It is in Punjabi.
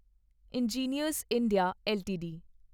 engineers India LTD